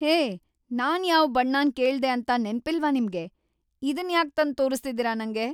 ಹೇ, ನಾನ್ ಯಾವ್ ಬಣ್ಣನ್ ಕೇಳ್ದೆ ಅಂತ ನೆನ್ಪಿಲ್ವಾ ನಿಮ್ಗೆ? ಇದನ್‌ ಯಾಕ್‌ ತಂದ್‌ ತೋರಿಸ್ತಿದೀರ ನಂಗೆ?